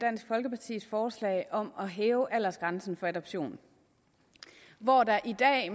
dansk folkepartis forslag om at hæve aldersgrænsen for adoption hvor der i dag